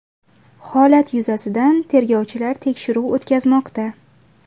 Holat yuzasidan tergovchilar tekshiruv o‘tkazmoqda.